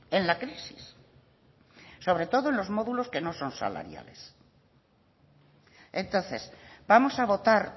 en la crisis sobre todo los módulos que no son salariales entonces vamos a votar